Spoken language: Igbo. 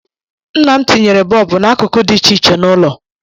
Nna m tinyere bọọbụ n'akụkụ dị iche iche n'ụlọ